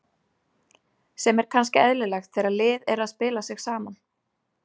Sem er kannski eðlilegt þegar lið er að spila sig saman.